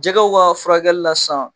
Jɛgɛw ka furakɛlila sisan